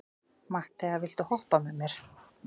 Matthea, viltu hoppa með mér?